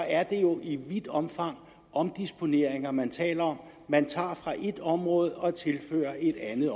er jo i vidt omfang omdisponeringer man taler om man tager fra et område og tilfører et andet